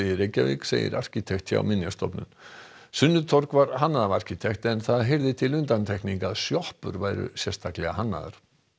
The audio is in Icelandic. Reykjavík segir arkitekt hjá Minjastofnun sunnutorg var hannað af arkitekt en það heyrði til undantekninga að sjoppur væru sérstaklega hannaðar